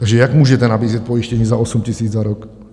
Takže jak můžete nabízet pojištění za 8 000 za rok?